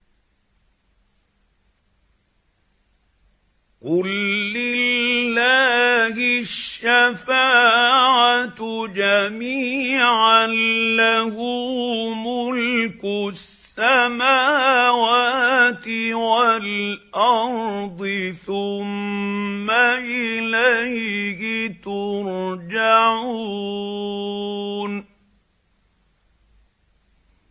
قُل لِّلَّهِ الشَّفَاعَةُ جَمِيعًا ۖ لَّهُ مُلْكُ السَّمَاوَاتِ وَالْأَرْضِ ۖ ثُمَّ إِلَيْهِ تُرْجَعُونَ